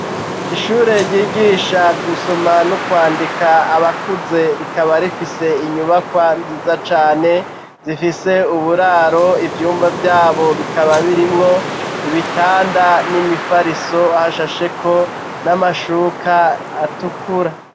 Ishure ryigisha gusoma no kwandika abakuze rikaba rifise inyubakwa nziza cane. Zifise uburaro ivyumba vyabo bikaba birimwo ibitanda n'imifariso hashasheko n'amashuka atukura.